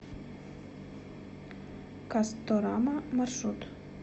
касторама маршрут